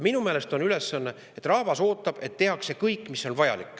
Minu meelest rahvas ootab, et tehtaks kõik, mis on vajalik.